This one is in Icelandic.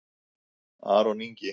Aron Ingi